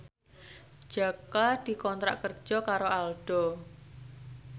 Jaka dikontrak kerja karo Aldo